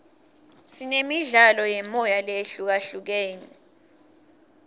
sinemidlalo yemoya lehlukahlukene